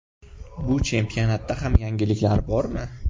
Bu chempionatda ham yangiliklar bormi?